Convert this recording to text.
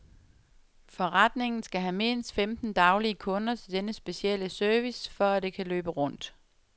Forretningen skal have mindst femten daglige kunder til denne specielle service, for at det kan løbe rundt.